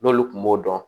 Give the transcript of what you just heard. N'olu kun b'o dɔn